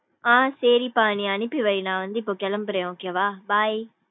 ஆஹ் சேரிப்பா. நீ அனுப்பி வை நா வந்து இப்போ கெளம்புறேன் okay வா bye.